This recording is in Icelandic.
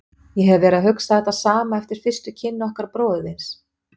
Ég hef verið að hugsa þetta sama eftir fyrstu kynni okkar bróður þíns.